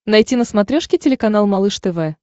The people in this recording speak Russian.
найти на смотрешке телеканал малыш тв